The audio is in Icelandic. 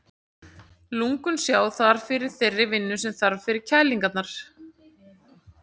Lungun sjá þar fyrir þeirri vinnu sem þarf til kælingarinnar.